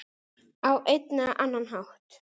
Á einn eða annan hátt.